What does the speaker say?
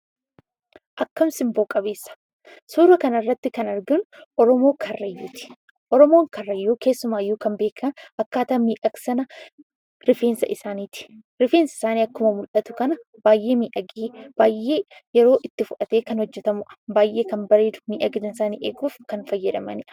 Akkam simboo qabeessa! Suuraa kanarratti kan arginu oromoo karrayyuu ta'edha. Oromoon karrayyuu keessumayyuu kan beekaman akkaataa miidhagsama rifeensa isaaniiti. Rifeensi isaanii akkuma mul'atu kana baay'ee miidhagee baay'ee yeroo itti fudhatee kan hojjatamudha. Baay'ee kan bareedu miidhagina isaanii eeguuf kan fayyadamanidha.